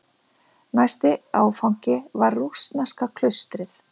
Næsti áfangi var rússneska klaustrið.